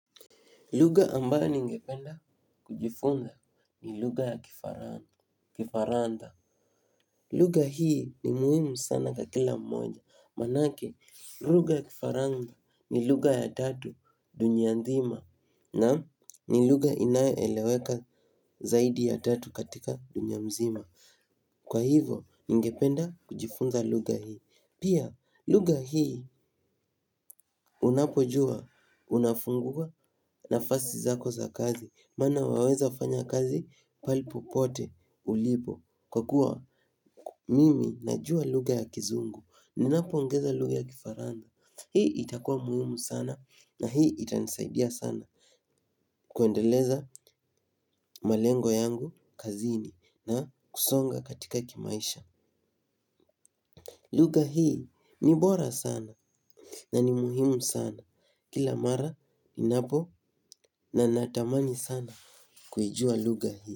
Lugha ambayo ningependa kujifunza ni lugha ya kifaransa. Lugha hii ni muhimu sana kwa kila mmoja. Maanake, lugha ya kifaransa ni lugha ya tatu dunia nzima na ni lugha inaeleweka zaidi ya tatu katika dunia mzima. Kwa hivo, ningependa kujifunza lugha hii. Pia, lugha hii unapojua, unafungua nafasi zako za kazi. Maana waweza fanya kazi pahali popote ulipo. Kwa kuwa mimi najua lugha ya kizungu. Ninapoongeza lugha ya kifaransa hii itakua muhimu sana na hii itanisaidia sana. Kuendeleza malengo yangu kazini na kusonga katika kimaisha. Lugha hii ni bora sana na ni muhimu sana. Kila mara ninapo na natamani sana kuijua lugha hii.